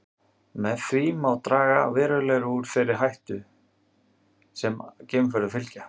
Með því má draga verulega úr þeirri áhættu sem geimferðum fylgja.